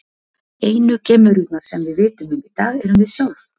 Einu geimverurnar sem við vitum um í dag erum við sjálf!